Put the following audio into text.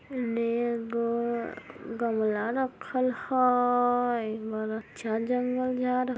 न-ग गमला रखल हेय बड़ अच्छा जंगल झाड़--